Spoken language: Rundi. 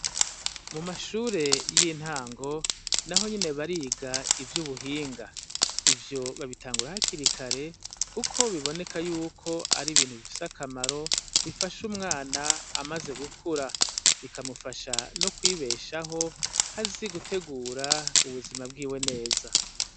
Mu mashure y'intango na ho nyene bariga ivyo ubuhinga ivyo babitangura hakirikare, kuko biboneka yuko ari ibintu bifise akamaro bifashe umwana amaze gukura bikamufasha no kwibeshaho azi gutegura ubuzima bwiwe neza.